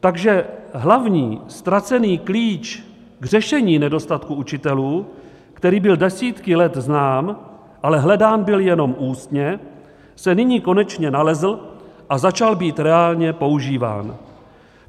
Takže hlavní, ztracený klíč k řešení nedostatku učitelů, který byl desítky let znám, ale hledán byl jenom ústně, se nyní konečně nalezl a začal být reálně používán.